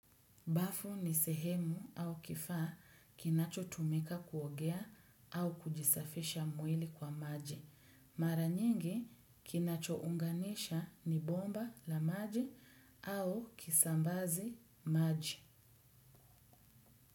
Bafu ni sehemu au kifaa kinacho tumika kuogea au kujisafisha mwili kwa maji. Mara nyingi kinacho unganisha ni bomba la maji au kisambazi maji.